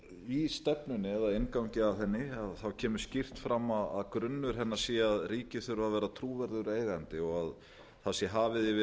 í stefnunni eða inngangi að henni kemur skýrt fram að grunnur hennar sé að ríkið þurfi að vera trúverðugur eigandi og það sé hafið yfir